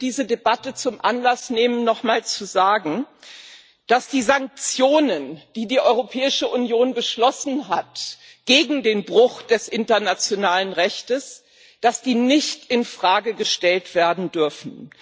Ich möchte diese Debatte zum Anlass nehmen, nochmal zu sagen, dass die Sanktionen, die die Europäische Union gegen den Bruch des internationalen Rechts beschlossen hat, nicht in Frage gestellt werden dürfen.